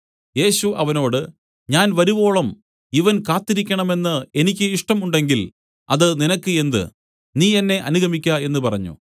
യേശു അവനോട് ഞാൻ വരുവോളം ഇവൻ കാത്തിരിക്കേണമെന്ന് എനിക്ക് ഇഷ്ടം ഉണ്ടെങ്കിൽ അത് നിനക്ക് എന്ത് നീ എന്നെ അനുഗമിക്ക എന്നു പറഞ്ഞു